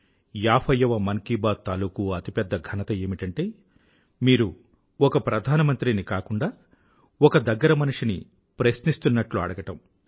ఏభైయ్యవ మన్ కీ బాత్ తాలూకూ అతిపెద్ద ఘనత ఏమిటంటే మీరు ఒక ప్రధానమంత్రిని కాకుండా ఒక దగ్గరి మనిషిని ప్రశ్నిస్తున్నట్లు అడగడం